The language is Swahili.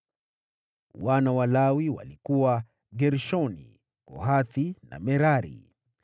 Wana wa Lawi walikuwa: Gershoni, Kohathi na Merari.